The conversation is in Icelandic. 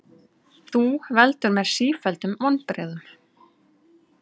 Þú veldur mér sífelldum vonbrigðum.